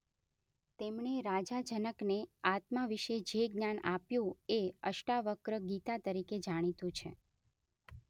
તેમણે રાજા જનકને આત્મા વિષે જે જ્ઞાન આપ્યું એ અષ્ટાવક્ર ગીતા તરીકે જાણીતું છે.